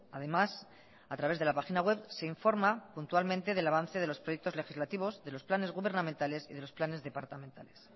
además a través de la página web se informa puntualmente del avance de los proyectos legislativos de los planes gubernamentales y de los planes departamentales